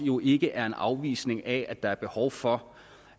jo ikke er en afvisning af at der er behov for